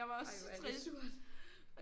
Ej hvor er det surt